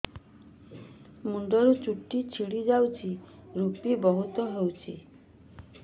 ମୁଣ୍ଡରୁ ଚୁଟି ଝଡି ଯାଉଛି ଋପି ବହୁତ ହେଉଛି